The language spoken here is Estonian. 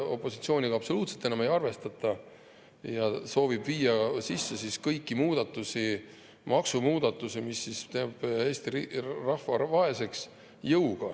Opositsiooniga absoluutselt ei arvestata ja soovitakse jõuga ära teha kõik maksumuudatused, mis teevad Eesti rahva vaeseks.